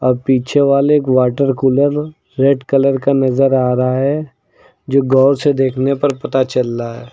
अब पीछे वाले एक वाटर कूलर रेड कलर का नजर आ रहा है जो गौर से देखने पर पता चल रहा है।